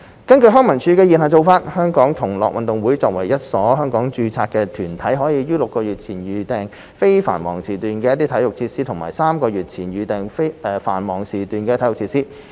根據康文署的現行做法，"香港同樂運動會"作為一所香港註冊團體，可於6個月前預訂非繁忙時段的體育設施及於3個月前預訂繁忙時段的體育設施。